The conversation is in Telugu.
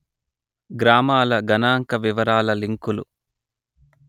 గ్రామాల గణాంక వివరాల లింకులు